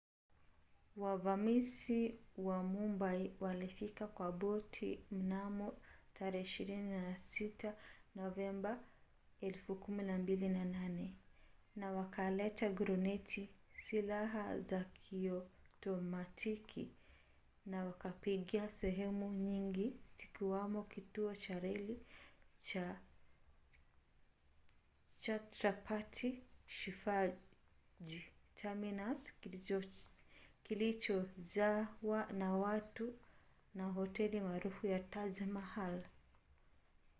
wavamizi wa mumbai walifika kwa boti mnamo 26 novemba 2008 na wakaleta gruneti silaha za kiotomatiki na wakapiga sehemu nyingi zikiwamo kituo cha reli cha chhatrapati shivaji terminus kilichojawa na watu na hoteli maarufu ya taj mahal